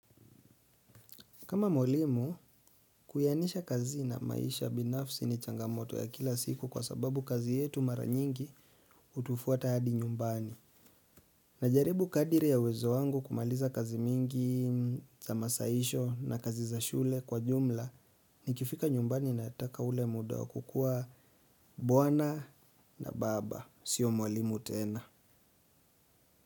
Kama mwalimu, kuyanisha kazi na maisha binafsi ni changamoto ya kila siku kwa sababu kazi yetu mara nyingi hutufuata hadi nyumbani. Najaribu kadiri ya uwezo wangu kumaliza kazi mingi za masaisho na kazi za shule kwa jumla nikifika nyumbani nataka ule muda kukuwa bwana na baba. Sio mwalimu tena.